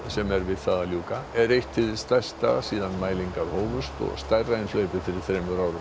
sem er við það að ljúka er eitt hið stærsta síðan mælingar hófust og stærra en hlaupið fyrir þremur árum